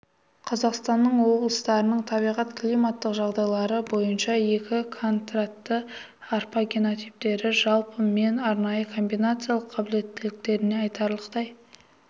қазақстанның облыстарының табиғат-климаттық жағдайлары бойынша екі контранты арпа генотиптері жалпы мен арнайы комбинациялық қабілеттіліктерінде айтарлықтай